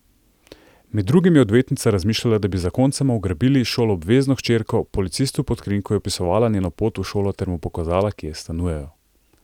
Med drugim je odvetnica razmišljala, da bi zakoncema ugrabili šoloobvezno hčerko, policistu pod krinko je opisovala njeno pot v šolo ter mu pokazala, kje stanujejo.